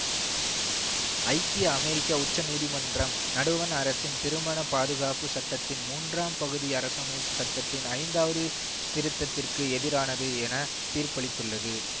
ஐக்கிய அமெரிக்க உச்ச நீதிமன்றம் நடுவண் அரசின் திருமண பாதுகாப்பு சட்டத்தின் மூன்றாம் பகுதி அரசமைப்பு சட்டத்தின் ஐந்தாவது திருத்ததிற்கு எதிரானது என தீர்ப்பளித்துள்ளது